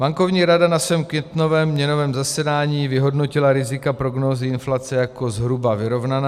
Bankovní rada na svém květnovém měnovém zasedání vyhodnotila rizika prognózy inflace jako zhruba vyrovnaná.